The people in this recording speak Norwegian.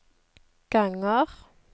ganger